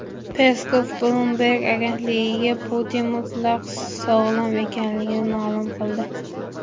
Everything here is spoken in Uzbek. Peskov Bloomberg agentligiga Putin mutlaq sog‘lom ekanligini ma’lum qildi.